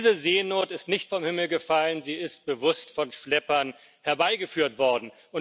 Diese Seenot ist nicht vom Himmel gefallen, sie ist bewusst von Schleppern herbeigeführt worden.